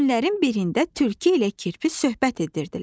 Günlərin birində tülkü ilə kirpi söhbət edirdilər.